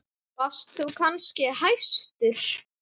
Varst þú kannski hæstur?